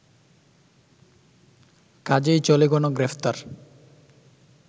কাজেই চলে গণগ্রেফতার